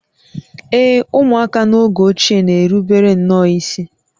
Ee e, ụmụaka n’oge ochie na-erubere nnọọ isi